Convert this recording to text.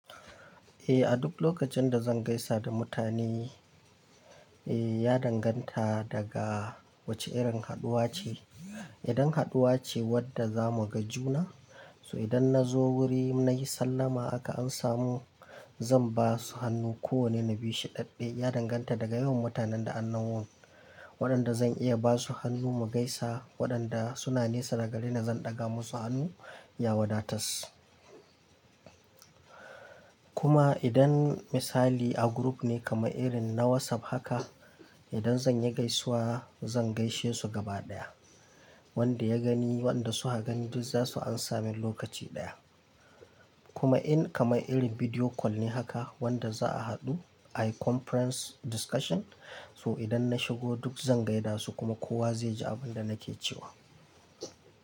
Eh, a duk lokacin da zan gaisa da mutane, eh ya danganta daga wace irin haɗuwa ce. Idan haɗuwa ce wadda zamu ga juna, so idan na zo wuri nayi sallama aka an samu zan ba su hannu kowanne na bi shi ɗaɗɗe. Ya danganta daga yawan mutanen da an samo, waɗanda zan iya ba su hannu mu gaisa, waɗanda suna nesa daga gareni zan ɗaga musu hannu ya wadatas. Kuma idan misali a group ne kamar irin na WhatsApp haka, idan zan yi gaisuwa zan gaishe su gaba ɗaya. Wanda ya gani, wanda su ha gani duk za su ansa me lokaci ɗaya. Kuma in kamar irin video call ne haka wanda za a haɗu a conference discussion, so idan na shigo duk zan gaida su kuma kowa zai ji abun da nake cewa.